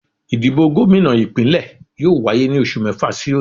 Ìdìbò gómìnà Ìpínlẹ̀ yóò wáyé ní oṣù mẹ́fà sí òní